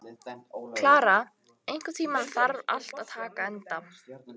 Klara, einhvern tímann þarf allt að taka enda.